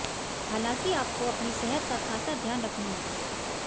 हालांकि आपको अपनी सेहत का ख़ासा ध्यान रखना होगा